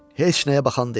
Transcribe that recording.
Heç nəyə baxan deyil.